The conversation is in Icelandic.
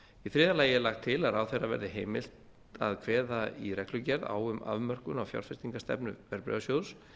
í þriðja lagi er lagt til að ráðherra verði veitt heimild til að kveða í reglugerð á um afmörkun á fjárfestingarstefnu verðbréfasjóðs